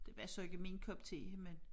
Det var så ikke min kop te men